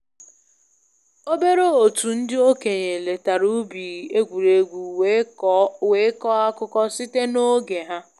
Obere otu ndị okenye letara ubi egwuregwu were kọọ akụkọ site na oge ha.